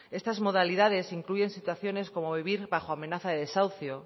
estas modalidades incluyen situaciones como vivir bajo amenaza desahucio